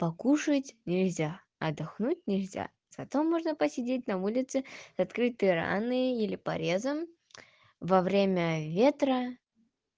покушать нельзя отдохнуть нельзя зато можно посидеть на улице открытой раной или порезом во время ветра